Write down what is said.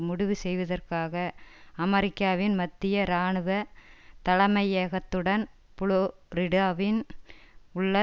முடிவு செய்வதற்காக அமெரிக்காவின் மத்திய இராணுவ தலைமையகத்துடன் புளோரிடாவின் உள்ள